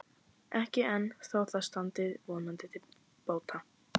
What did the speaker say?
Ekki enn, þó það standi vonandi til bóta.